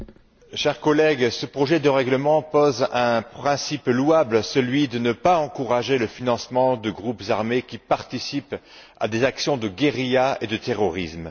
Monsieur le Président, chers collègues, ce projet de règlement pose un principe louable, celui de ne pas encourager le financement de groupes armés qui participent à des actions de guérilla et de terrorisme.